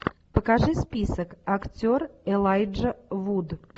покажи список актер элайджа вуд